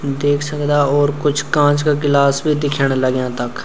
देख सकदा और कुछ कांच का गिलास बि दिखेणा लग्यां तख।